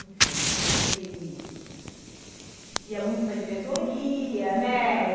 enfim, sempre ia muito para a diretoria, né?